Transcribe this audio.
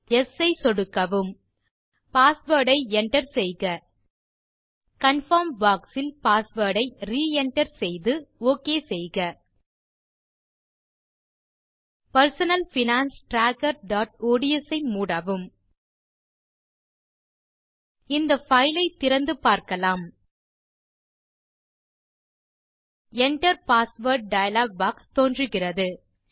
yes ஐ சொடுக்கவும் password ஐ என்டர் செய்க கன்ஃபர்ம் பாக்ஸ் இல் பாஸ்வேர்ட் ஐ ரே enter செய்து ஒக் செய்க personal finance trackerஒட்ஸ் ஐ மூடவும் இந்த பைல் ஐ திறந்து பார்க்கலாம் Enter பாஸ்வேர்ட் டயலாக் பாக்ஸ் தோன்றுகிறது